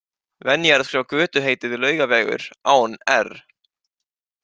Venja er að skrifa götuheitið Laugavegur, án-r-.